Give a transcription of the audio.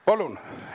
Palun!